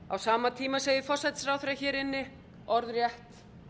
á sama tíma segir forsætisráðherra hér inni orðrétt